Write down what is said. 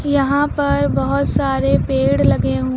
यहां पर बहोत सारे पेड़ लगे हुए--